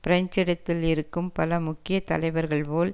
French இடதில் இருக்கும் பல முக்கிய தலைவர்கள் போல்